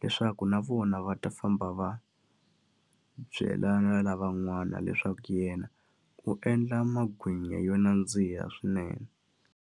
Leswaku na vona va ta famba va byela na lavan'wana leswaku yena u endla magwinya yo nandziha swinene.